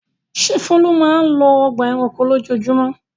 Ṣé Folu máa ń lọ ọgbà-ẹranko lójoojúmọ́?